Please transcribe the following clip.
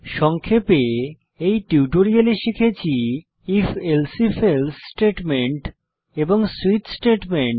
সংক্ষেপে এই টিউটোরিয়ালে শিখেছি if elsif এলসে স্টেটমেন্ট এবং সুইচ স্টেটমেন্ট